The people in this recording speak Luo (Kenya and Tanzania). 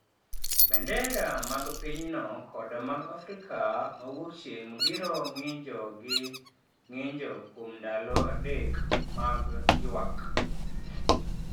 Bendera mag pinyno kod mag Afrika ma Wuokchieng’ biro ng’injo gi ng’injo kuom ndalo adek mag ywak.